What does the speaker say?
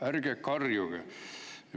Ärge karjuge!